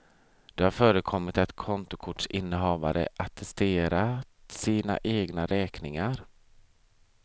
Det har förekommit att kontokortsinnehavare attesterat sina egna räkningar.